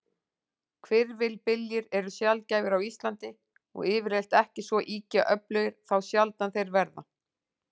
Hvirfilbyljir eru sjaldgæfir á Íslandi, og yfirleitt ekki svo ýkja öflugir þá sjaldan þeir verða.